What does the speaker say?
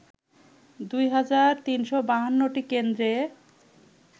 ২ হাজার ৩৫২টি কেন্দ্রে